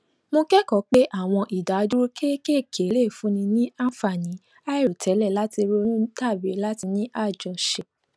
mo kékòó pé àwọn ìdádúró kéékèèké lè fúnni ní àǹfààní àìròtélè láti ronú tàbí láti ní àjọṣe